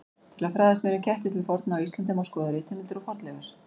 Til að fræðast meira um ketti til forna á Íslandi má skoða ritheimildir og fornleifar.